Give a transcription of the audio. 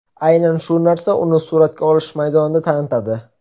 Aynan shu narsa uni suratga olish maydonida tanitadi.